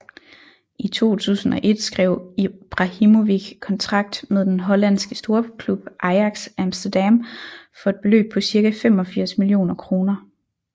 I 2001 skrev Ibrahimović kontrakt med den hollandske storklub Ajax Amsterdam for et beløb på cirka 85 millioner kroner